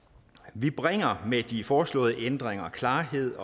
vi bringer med de foreslåede ændringer klarhed